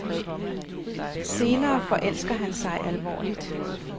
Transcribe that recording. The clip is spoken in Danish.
Senere forelsker han sig alvorligt.